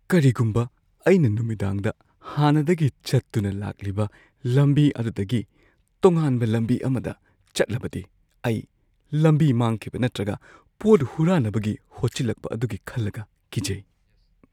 ꯀꯔꯤꯒꯨꯝꯕ ꯑꯩꯅ ꯅꯨꯃꯤꯗꯥꯡꯗ ꯍꯥꯟꯅꯗꯒꯤ ꯆꯠꯇꯨꯅ ꯂꯥꯛꯂꯤꯕ ꯂꯝꯕꯤ ꯑꯗꯨꯗꯒꯤ ꯇꯣꯉꯥꯟꯕ ꯂꯝꯕꯤ ꯑꯃꯗ ꯆꯠꯂꯕꯗꯤ ꯑꯩ ꯂꯝꯕꯤ ꯃꯥꯡꯈꯤꯕ ꯅꯠꯇ꯭ꯔꯒ ꯄꯣꯠ ꯍꯨꯔꯥꯟꯅꯕꯒꯤ ꯍꯣꯠꯆꯜꯂꯛꯄ ꯑꯗꯨꯒꯤ ꯈꯜꯂꯒ ꯀꯤꯖꯩ꯫